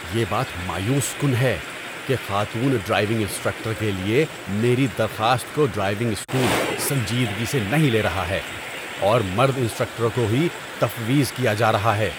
یہ بات مایوس کن ہے کہ خاتون ڈرائیونگ انسٹرکٹر کے لیے میری درخواست کو ڈرائیونگ اسکول سنجیدگی سے نہیں لے رہا ہے اور مرد انسٹرکٹروں کو ہی تفویض کیا جا رہا ہے۔